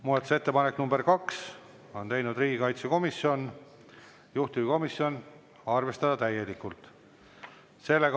Muudatusettepaneku nr 2 on teinud riigikaitsekomisjon, juhtivkomisjon: arvestada täielikult.